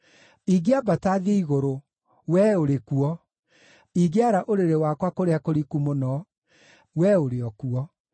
Ingĩambata thiĩ igũrũ, Wee ũrĩ kuo; ingĩara ũrĩrĩ wakwa kũrĩa kũriku mũno, Wee ũrĩ o kuo.